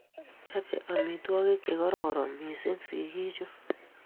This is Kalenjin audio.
Chope amitwogik che kororon missing' sigik chuk